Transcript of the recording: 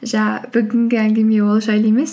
бүгінгі әңгіме ол жайлы емес